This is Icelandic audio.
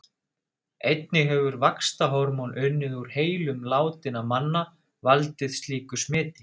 Einnig hefur vaxtarhormón unnið úr heilum látinna manna valdið slíku smiti.